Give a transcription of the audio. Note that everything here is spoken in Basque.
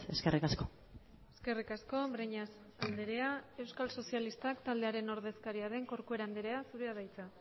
eskerrik asko eskerrik asko breñas andrea euskal sozialistak taldearen ordezkaria den corcuera andrea zurea da hitza